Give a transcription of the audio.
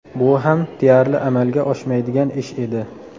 Bu ham deyarli amalga oshmaydigan ish edi.